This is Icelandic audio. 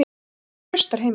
Ég hef traustar heimildir.